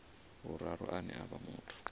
vhuraru ane a vha muthu